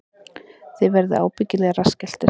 Þið verðið ábyggilega rassskelltir